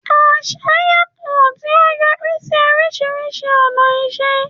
Àṣà yàtọ̀, tí ó yọrí sí oríṣiríṣi ọ̀nà ìṣe.